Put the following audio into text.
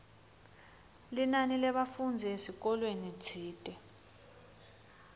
linani lebafundzi esikolweni tsite